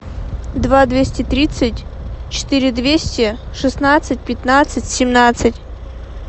два двести тридцать четыре двести шестнадцать пятнадцать семнадцать